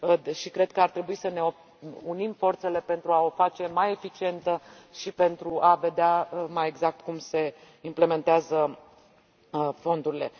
și cred că ar trebui să ne unim forțele pentru a o face mai eficientă și pentru a vedea mai exact cum se implementează fondurile.